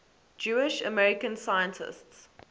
jewish american scientists